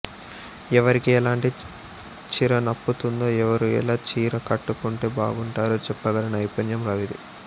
ఎవరికి ఎలాంటి చీర నప్పుతుందో ఎవరు ఎలా చీర కట్టుకుంటే బాగుంటారో చెప్పగల నైపుణ్యం రవిది